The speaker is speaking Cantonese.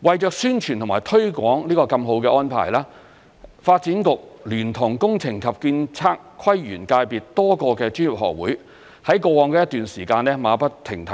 為宣傳和推廣這個這麼好的安排，發展局聯同工程及建築、測量、都市規劃及園境界別多個專業學會在過往一段時間馬不停蹄，